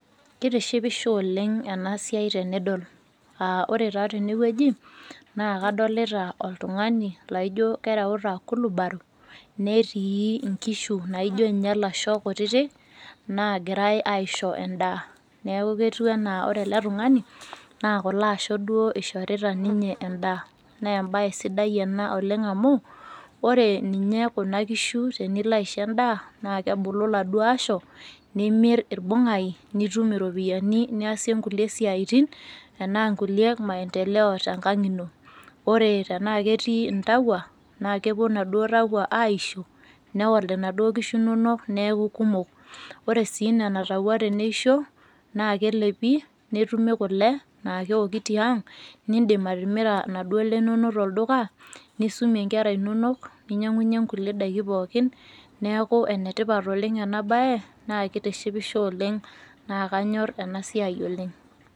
Keitishipisho oleng' enasiai tenidol aaore taa tenewueji naa kadolita oltung'ani laijo kereuta kulubaro netii inkishu naijo ninye ilasho kutiti naagirai aisho endaa. Neaku ketu anaa kore ele tung'ani naa kuloasho duoo eishorita ninye endaa. Neembaye sidai oleng' ena amu ore ninye kuna kishu tenilo aisho endaa naakebulu laduo asho nimirr irbung'ai nitum iropiyani niasie inkulie siaitin anaa nkulie maendeleo tenkang' ino. Ore tenaake etii intauwa naakepuo naduo tauwa aaisho newal inaduo kishu inonok neaku kumok. Ore sii nena tauwa teneisho naa kelepi netumi kole naa keoki tiang' nindim atimira naduole inonok tolduka nisumie inkera inonok ninyang'unye nkulie daiki pookin neaku enetipat oleng' enabaye naakeitishipisho oleng' naakanyorr enasiai oleng.